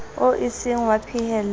oo e seng wa phahello